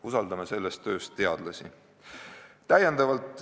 Usaldame selles töös teadlasi.